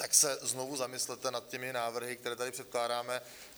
Tak se znovu zamyslete nad těmi návrhy, které tady předkládáme.